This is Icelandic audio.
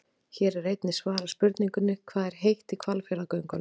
Hér er einnig svarað spurningunni: Hvað er heitt í Hvalfjarðargöngunum?